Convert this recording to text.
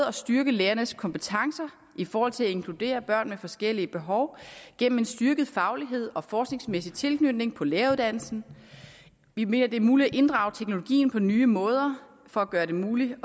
at styrke lærernes kompetencer i forhold til at inkludere børn med forskellige behov gennem en styrket faglighed og forskningsmæssig tilknytning på læreruddannelsen vi mener det er muligt at inddrage teknologien på nye måder for at gøre det muligt